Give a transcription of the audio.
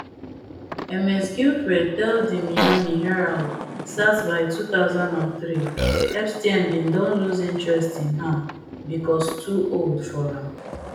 ms giuffre tell di miami herald sat by two thousand and three epstein bin don lose interest in her becos too old for am